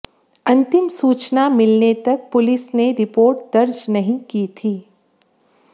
अंतिम सूचना मिलने तक पुलिस ने रिपोर्ट दर्ज नहीं की थी